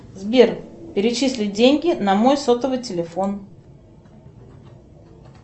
сбер перечислить деньги на мой сотовый телефон